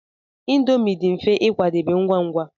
Indomi dị mfe ịkwadebe ngwa ngwa.